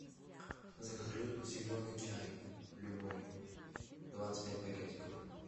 закажи зеленый чай любой двадцать пять пакетиков